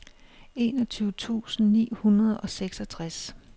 enogtyve tusind ni hundrede og seksogtres